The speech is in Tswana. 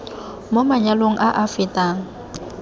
mo manyalong a a fetang